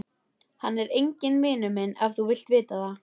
Hann er enginn vinur minn ef þú vilt vita það.